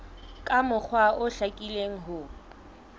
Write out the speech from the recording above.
ka mokgwa o hlakileng ho